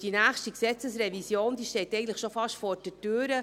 die nächste StG-Revision steht schon fast vor der Tür.